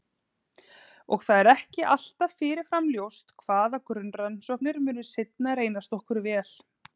Og það er ekki alltaf fyrirfram ljóst hvaða grunnrannsóknir munu seinna reynast okkur vel.